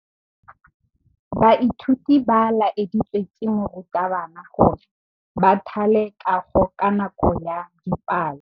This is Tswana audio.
Baithuti ba laeditswe ke morutabana gore ba thale kagô ka nako ya dipalô.